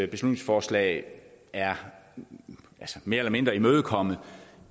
beslutningsforslag er mere eller mindre imødekommet